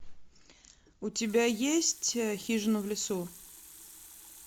у тебя есть хижина в лесу